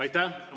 Aitäh!